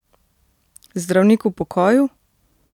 Zdravnik v pokoju?